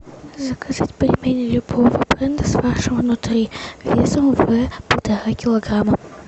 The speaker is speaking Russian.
заказать пельмени любого бренда с фаршем внутри весом в полтора килограмма